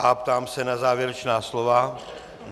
A ptám se na závěrečná slova.